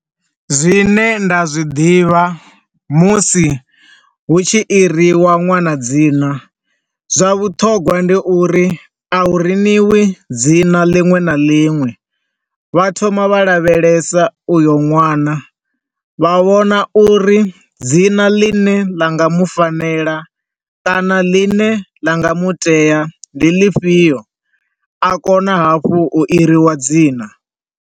Zwine nda zwi ḓivha musi hu tshi iriwa ṅwana dzina, zwa vhuṱhogwa ndi uri a hu riniwi dzina ḽinwe na ḽinwe, vha thoma vha lavhelesa uyo nwana, vha vhona uri dzina ḽine ḽa nga mufanela kana ḽine ḽa nga mutea ndi ḽifhio, a kona hafhu u iriwa dzina.